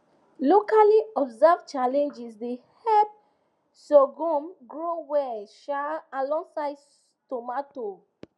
locally observed challenges dey help sorghum grow well um alongside tomato